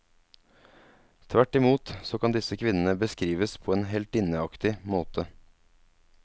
Tvert i mot så kan disse kvinnene beskrives på en heltinneaktig måte.